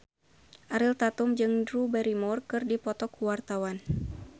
Ariel Tatum jeung Drew Barrymore keur dipoto ku wartawan